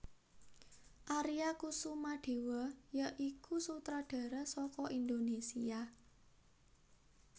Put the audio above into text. Aria Kusumadewa ya iku sutradara saka Indonésia